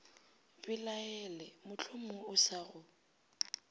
belaele mohlomongwe o sa go